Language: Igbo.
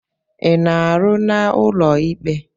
Ị na-arụ n'ụlọ ikpe?